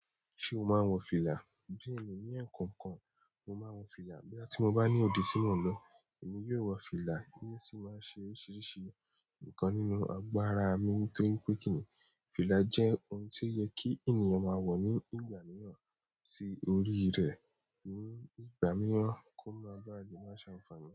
Ṣé o máa ń wọ fìlà? Bẹ́ẹ̀ni, ní ẹ̀kọ́okan, mo máa ń wo fìlà. Boya tií bá ní òde ti mò n lọ, èmi yóò wọ fìlà ní ó sì máa ṣe oríṣiríṣi nkan nínú agbára mi nítorí pé kíìní, fìlà jẹ́ ohun tí ó yẹ kí ènìyàn máa wọ̀ ní ìgbà mìíràn sí orí rẹ̀ ní ìgbà mìíràn kó máa bá le máa ṣàǹfààní.